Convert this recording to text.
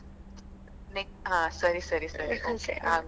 ಹಾ ಸರಿ ಸರಿ okay ಆಗ್ಬಹುದು.